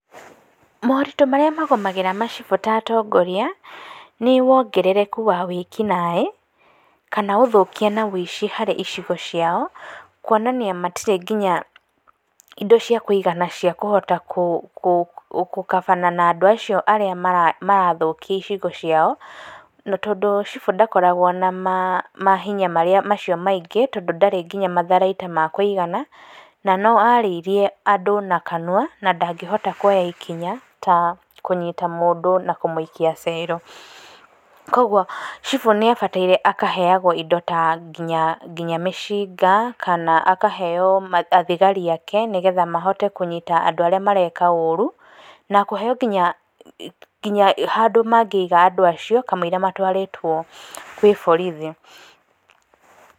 Moritũ marĩa magũmagĩra macibũ ta atongoria nĩ wongerereku wa wĩki naĩ, kana ũthũkia na wĩici harĩ icigo ciao kuonania matirĩ nginya indo cia kwĩgitĩra na cia kũhota gũkabana na andũ acio arĩa marathũkia icigo ciao na tondũ cibũ ndakoragwo na mahinya marĩa macio maingĩ tondũ ndarĩ nginya matharaita ma kũigana na no arĩirie andũ na kanua na ndangĩhota kuoya ikinya ta kunyita mũndũ na kũmũikia cero, kwoguo cibũ nĩ abataire akaheagwo indo ta nginya mĩcinga kana akaheo thigari ake nĩgetha mahote kũnyita andũ arĩa mareka ũru na kũhe nginya handũ mangĩiga andũ acio kamũira matwarĩtwo gwĩ borithi.